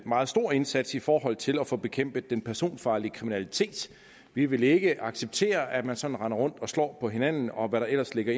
meget stor indsats i forhold til at få bekæmpet den personfarlige kriminalitet vi vil ikke acceptere at man sådan render rundt og slår på hinanden og hvad der ellers ligger